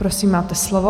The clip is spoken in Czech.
Prosím, máte slovo.